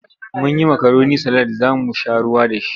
Mun yi makaroni salad za mu sha ruwa da shi.